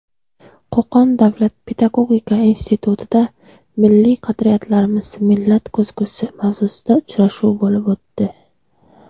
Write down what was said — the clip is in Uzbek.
Qo‘qon davlat pedagogika institutida "Milliy qadriyatlarimiz – millat ko‘zgusi" mavzusida uchrashuv bo‘lib o‘tdi.